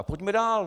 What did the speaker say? A pojďme dál.